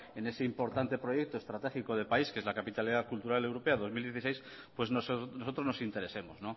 en ese importante proyecto que estratégico de país que es la capitalidad cultural europea dos mil dieciséis pues nosotros nos interesemos